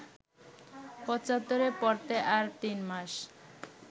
পঁচাত্তরে পড়তে আর তিনমাস